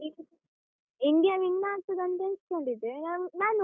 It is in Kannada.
India win ಆಗ್ತದಂತ ಎಣ್ಸ್ಕೊಂಡಿದ್ದೆ, ನಾನ್ ನಾನ್.